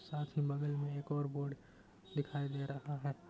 साथ ही बगल में एक और बोर्ड दिखाई दे रहा है।